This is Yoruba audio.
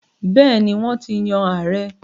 Bẹ́ẹ̀ni, Wọ́n ti yan ààrẹ́